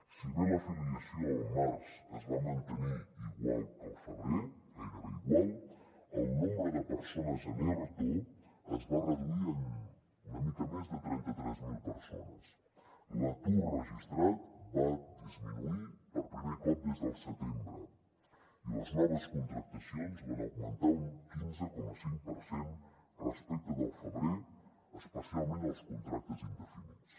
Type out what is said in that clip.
si bé l’afiliació al març es va mantenir igual que al febrer gairebé igual el nombre de persones en erto es va reduir en una mica més de trenta tres mil persones l’atur registrat va disminuir per primer cop des del setembre i les noves contractacions van augmentar un quinze coma cinc per cent respecte del febrer especialment els contractes indefinits